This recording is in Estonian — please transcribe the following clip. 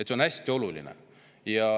See on hästi oluline.